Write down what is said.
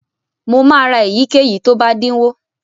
Mo máa ra èyíkéyìí tó bá dínwó.